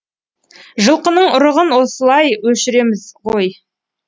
жылқының ұрығын осылай өшіреміз ғой